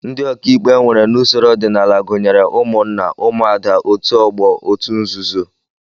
Ndị ọkàikpe e nwere n'usoro ọdịnala gụnyere ụmụnna, ụmụada, otu ọgbọ, otu nzuzo